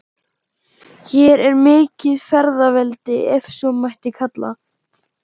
Hér er mikið feðraveldi, ef svo mætti kalla.